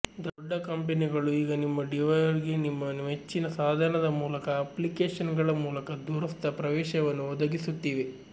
ದೊಡ್ಡ ಕಂಪನಿಗಳು ಈಗ ನಿಮ್ಮ ಡಿವೈಆರ್ಗೆ ನಿಮ್ಮ ಮೆಚ್ಚಿನ ಸಾಧನದ ಮೂಲಕ ಅಪ್ಲಿಕೇಶನ್ಗಳ ಮೂಲಕ ದೂರಸ್ಥ ಪ್ರವೇಶವನ್ನು ಒದಗಿಸುತ್ತಿವೆ